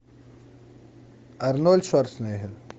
арнольд шварценеггер